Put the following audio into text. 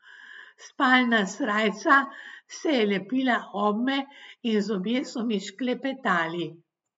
Spalna srajca se je lepila obme in zobje so mi šklepetali.